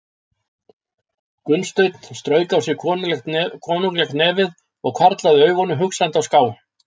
Gunnsteinn strauk á sér konunglegt nefið og hvarflaði augunum hugsandi á ská.